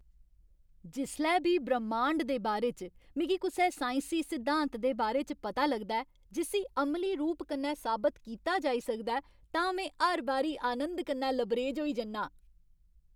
जिसलै बी ब्रह्मांड दे बारे च मिगी कुसै साइंसी सिद्धांत दे बारे च पता लगदा ऐ जिस्सी अमली रूप कन्नै साबत कीता जाई सकदा ऐ तां में हर बारी आनंद कन्नै लबरेज होई जन्नां।